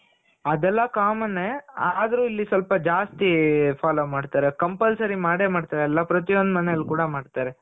ಅದೆಲ್ಲ common ನೆ ಆದ್ರು ಇಲ್ಲಿ ಸ್ವಲ್ಪ ಜಾಸ್ತಿ follow ಮಾಡ್ತಾರೆ. compulsory ಮಾಡೇ ಮಾಡ್ತಾರೆ ಎಲ್ಲಾ. ಪ್ರತಿಯೊಂದು ಮನೇಲ್ ಕೂಡ ಮಾಡ್ತಾರೆ.